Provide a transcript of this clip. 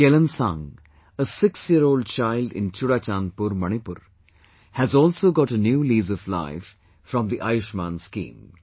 Kelansang, a sixyearold child in ChuraChandpur, Manipur, has also got a new lease of life from the Ayushman scheme